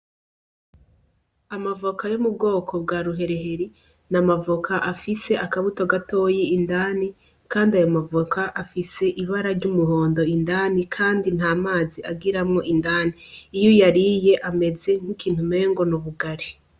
Amavoka yo mu bwoko bwa ruhereheri ni amavoka afise akabuto gatoyi indani, kandi ayo mavoka afise ibara ry'umuhondo indani, kandi nta mazi agiramwo indani iyo yariye ameze nk'ikintu mengo n' ubugari.